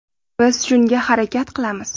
Biz shunga harakat qilamiz.